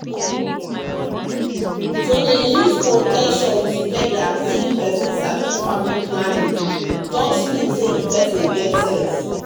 to dey use protection dem join togeda say peson sabi family planning family planning um just mean say peson get sense.